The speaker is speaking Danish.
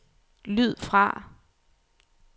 lyd fra